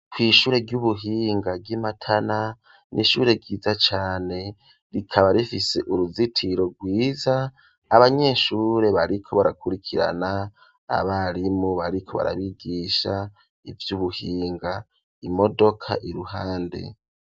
Kw'ishure ry'ubuhinga ry'Imatana n'ishure ryiza cane, rikaba rifise uruzitiro rwiza abanyeshure bariko barakurikirana ,abarimu bariko barabigisha ivy'ubuhinga, imodoka iruhande.